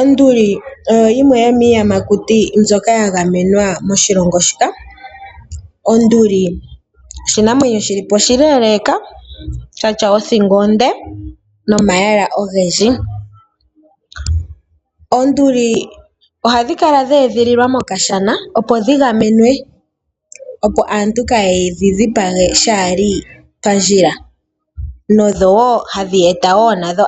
Onduli oyo yimwe yo miiyamakuti mbyoka ya gamenwa moshilongo shika. Onduli oshinanwenyo shi lipo oshileleka shatya othingo onde nomayala ogendji. Oonduli ohadhi kala dhe edhililwa mokashana, opo dhi gamenwe aantu kaaye dhi dhipage shaali pandjila nohadhi eta